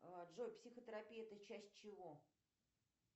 джой психотерапия это часть чего